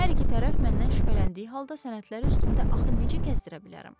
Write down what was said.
Hər iki tərəf məndən şübhələndiyi halda sənədləri üstümdə axı necə gəzdirə bilərəm?